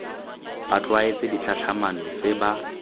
ba tlwaetse ditlhatlhamano tse ba